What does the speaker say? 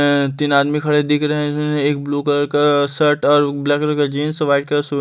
तीन आदमी खड़े दिख रहे हैं एक ब्लू कलर का शर्ट और ब्लैक करल का जींस व्हाइट कलर का--